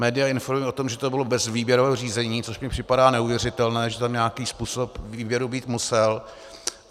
Média informují o tom, že to bylo bez výběrového řízení, což mi připadá neuvěřitelné, že tam nějaký způsob výběru být musel.